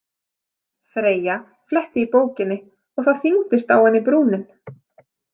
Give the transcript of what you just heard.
Freyja fletti í bókinni og það þyngdist á henni brúnin.